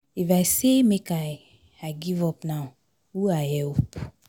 If I say make I I give up now, who I help?